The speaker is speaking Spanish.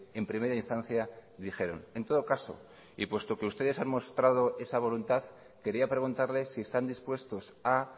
en primera instancia dijeron en todo caso y puesto que ustedes han mostrado esa voluntad quería preguntarle si están dispuestos a